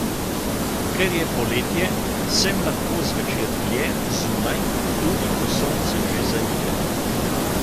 Ker je poletje, sem lahko zvečer dlje zunaj, tudi ko sonce že zaide.